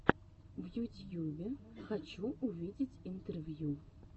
в ютьюбе хочу увидеть интервью